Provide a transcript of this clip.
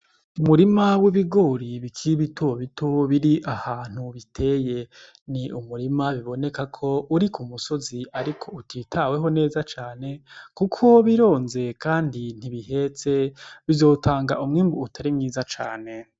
Umurima w'ibigori bikiri bitobito biri ahantu biteye ni umurima bibonekako uri kumusozi ariko utitaweho neza cane kuko bironze kandi ntibihetse bizotanga umwimbu utari mwiza cane .